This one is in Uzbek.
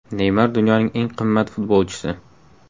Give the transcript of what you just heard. Neymar dunyoning eng qimmat futbolchisi.